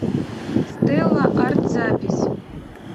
стелла арт запись